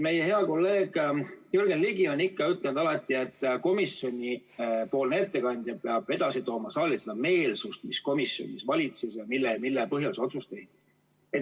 Meie hea kolleeg Jürgen Ligi on ikka alati ütelnud, et komisjoni ettekandja peab saali edasi tooma seda meelsust, mis komisjonis valitses ja mille põhjal otsus tehti.